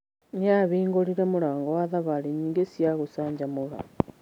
Nĩ aahingũrire mũrango wa thabarĩ nyingĩ cia gũcanjamũra.